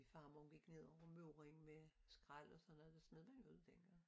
Farmor gik ned over møddingen med skrald og sådan noget det smed man jo ud dengang